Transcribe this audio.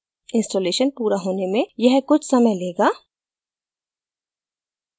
installation पूरा होने में यह कुछ समय लेगा